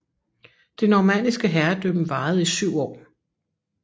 Det normanniske herredømme varede i syv år